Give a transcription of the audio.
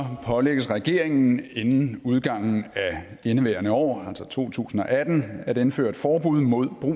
pålægges regeringen inden udgangen af indeværende år altså to tusind og atten at indføre et forbud mod brug